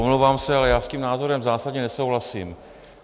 Omlouvám se, ale já s tím názorem zásadně nesouhlasím.